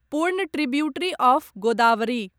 पूर्ण tributary of Godavari